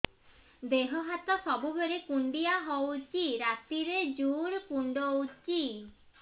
ଦେହ ହାତ ସବୁବେଳେ କୁଣ୍ଡିଆ ହଉଚି ରାତିରେ ଜୁର୍ କୁଣ୍ଡଉଚି